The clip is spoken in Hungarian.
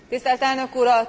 Tisztelt Elnök Úr!